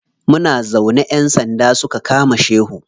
Muna zaune ƴan sanda suka kama shehu.